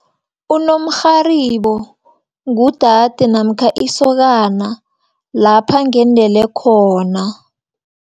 Unomrharibo ngudade, namkha isokana lapha ngendele khona.